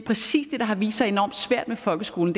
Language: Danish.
præcis det der har vist sig enormt svært med folkeskolen